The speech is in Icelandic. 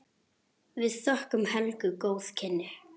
Við þökkum Helgu góð kynni.